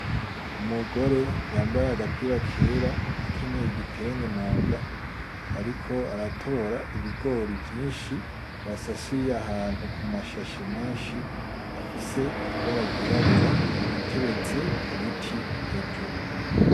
Umugore yambaye agapira kera akenyeye igitenge mu nda, ariko aratora ibigori vyinshi basasiye ahantu ku mashashe menshi afise ibara ryirabura ateretse ku biti hejuru.